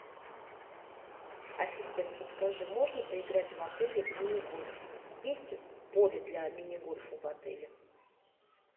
ассистент подскажи можно поиграть в отеле в мини гольф есть поле для мини гольфа в отеле